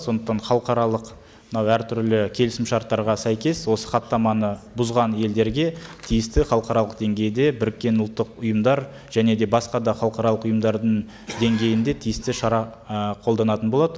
сондықтан халықаралық мынау әртүрлі келісімшарттарға сәйкес осы хаттаманы бұзған елдерге тиісті халықаралық деңгейде біріккен ұлттар ұйымдар және де басқа да халықаралық ұйымдардың деңгейінде тиісті шара ы қолданатын болады